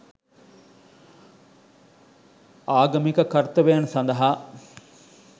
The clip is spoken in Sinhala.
ආගමික කර්තව්‍යයන් සඳහා